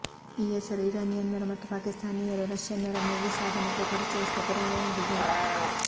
ಈ ಹೆಸರು ಇರಾನಿಯನ್ನರು ಮತ್ತು ಪಾಕಿಸ್ತಾನೀಯರು ರಷ್ಯನ್ನರನ್ನು ಈ ಸಾಧನಕ್ಕೆ ಪರಿಚಯಿಸಿದ ಪುರಾವೆಯಾಗಿದೆ